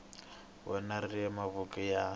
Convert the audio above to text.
wena ri le mavokweni ya